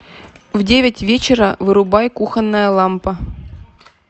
в девять вечера вырубай кухонная лампа